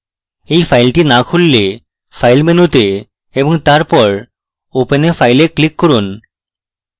এই file না খুললে file মেনুতে তারপর open a file a click করুন